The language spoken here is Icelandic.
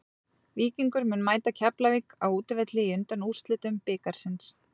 Víkingur mun mæta Keflavík á útivelli í undanúrslitum bikarsins.